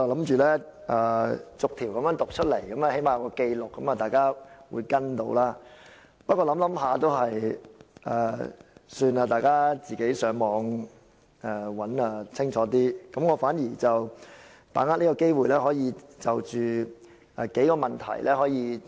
本來我打算逐項建議讀出來，最低限度有所記錄，讓大家可以跟隨，不過還是算了，大家自行上網查閱會更清楚，我想把握這個機會討論數個問題。